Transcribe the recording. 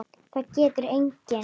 Það getur enginn.